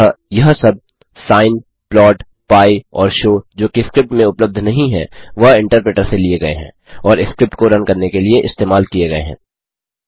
अतः यह सब सिन प्लॉट पी और शो जोकि स्क्रिप्ट में उपलब्ध नहीं हैं वह इन्टरप्रेटर से लिए गये हैं और स्क्रिप्ट को रन करने के लिए इस्तेमाल किये गये हैं